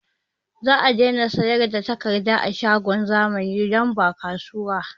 Zamu daina sayar da takardar a shagon zamani don ba kasuwa